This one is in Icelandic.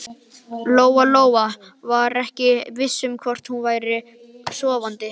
Lóa-Lóa var ekki viss um hvort hún væri sofandi.